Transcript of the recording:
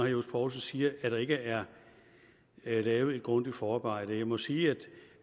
johs poulsen siger at der ikke er lavet et grundigt forarbejde jeg må sige